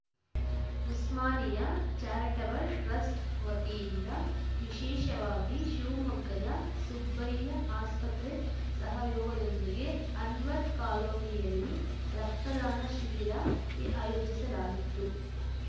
Osmania charitable trust ವತಿಯಿಂದ ವಿಶೇಷವಾಗಿ ಶಿವಮೊಗ್ಗದ ಸುಬ್ಬಯ್ಯ ಆಸ್ಪತ್ರೆ ಸಹಯೋಗದೊಂದಿಗೆ ಅನ್ವರ್‌ ಕಾಲೋನಿಯಲ್ಲಿ ರಕ್ತದಾನ ಶಿಬಿರ ಆಯೋಜಿಸಲಾಗಿತ್ತು